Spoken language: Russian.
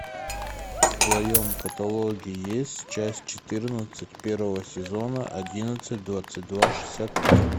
в твоем каталоге есть часть четырнадцать первого сезона одиннадцать двадцать два шестьдесят три